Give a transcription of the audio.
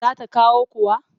Za ta kawo kuwa?